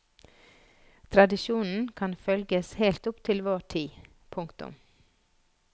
Tradisjonen kan følges helt opp i vår tid. punktum